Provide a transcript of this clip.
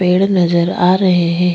पेड़ नजर आ रहे है।